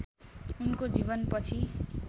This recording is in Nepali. उनको जीवनपछि